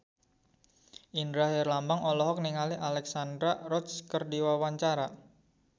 Indra Herlambang olohok ningali Alexandra Roach keur diwawancara